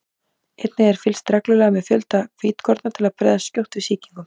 einnig er fylgst reglulega með fjölda hvítkorna til að bregðast skjótt við sýkingum